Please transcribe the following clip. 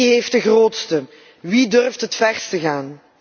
Wie heeft de grootste? Wie durft het verst te gaan?